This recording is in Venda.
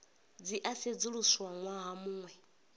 dzi a sedzuluswa ṅwaha muṅwe